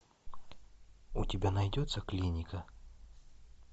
у тебя найдется клиника